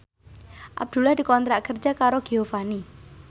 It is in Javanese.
Abdullah dikontrak kerja karo Giovanni